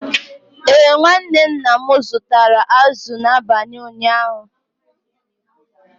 Ee, nwa nwanne nna m zụtara azụ̀ n’abalị ụnyaahụ.